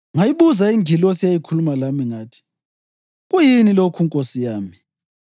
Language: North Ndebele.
Ngayibuza ingilosi eyayikhuluma lami, ngathi, “Kuyini lokhu, nkosi yami?”